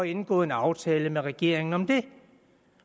indgået en aftale med regeringen